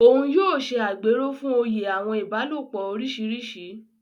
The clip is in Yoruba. Òún yóò ṣe agbéró fún òye àwọn ìbálòpọ̀ oríṣiríṣi.